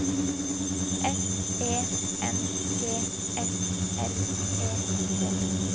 F E N G S L E T